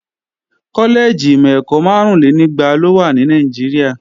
Kọ́lẹ́ẹ̀jì ìmọ̀-ẹ̀kọ́ márúnlénígba ló wà ní Nàìjíríà